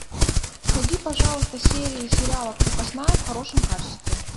найди пожалуйста серии сериала крепостная в хорошем качестве